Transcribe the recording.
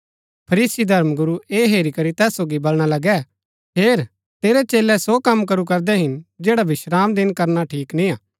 फरीसी धर्मगुरू ऐह हेरी करी तैस सोगी बलणा लगै हेर तेरै चेलै सो कम करू करदै हिन जैडा विश्रामदिन करना ठीक निय्आ